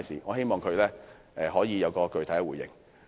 我希望局長可以作出具體回應。